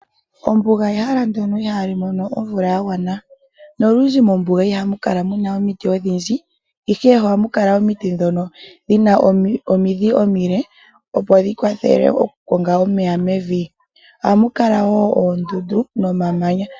Ombuga oyo ehala ndono ihali mono omvula ya gwana nolundji mombuga ihamu kala omiti odhindji ihe ohamu kala omiti ndhono dhina omidhi omile opo dhi kwathele oku konga omeya mevi .Ohamu kala wo oondundu nomamanya.